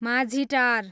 Majhitar